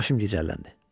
Başım gicəlləndi.